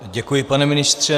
Děkuji, pane ministře.